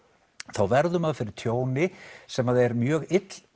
þá verður maður fyrir tjóni sem er mjög